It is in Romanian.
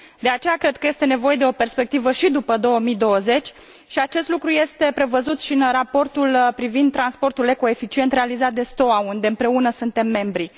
De aceea, cred că este nevoie de o perspectivă și după 2020 și acest lucru este prevăzut și în raportul privind transportul ecoeficient realizat de STOA unde, împreună, suntem membri.